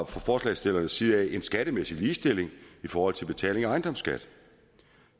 fra forslagsstillernes side en skattemæssig ligestilling i forhold til betaling af ejendomsskat